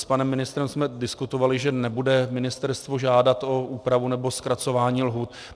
S panem ministrem jsme diskutovali, že nebude ministerstvo žádat o úpravu nebo zkracování lhůt.